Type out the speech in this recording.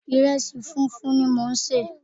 Ìrẹsì funfun ni mò ń sè.